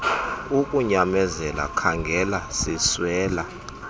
ukunyamezela khaangela siswela